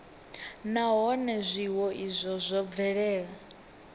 nahone zwiwo izwo zwo bvelela